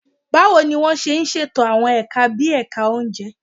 Báwo ni wọ́n ṣe ṣètò àwọn ẹ̀ka bí ẹ̀ka oúnjẹ?